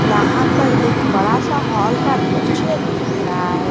यहां पर एक बड़ा सा हॉल का दृश्य दिख रहा है।